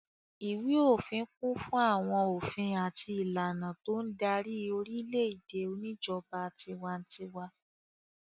Ìwé-òfin kún fún àwọn òfin àti ìlànà tó ń darí orílẹ̀-èdè oníjọba tiwantiwa.